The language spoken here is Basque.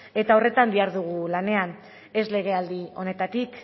eta horretan dihardugu lanean ez legealdi honetatik